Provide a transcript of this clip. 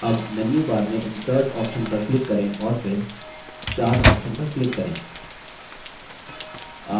अब मेन्यूबार में insert option पर click करें और फिर chart option पर click करें